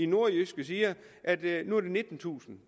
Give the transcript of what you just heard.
nordjyske siger at det nu er det nittentusind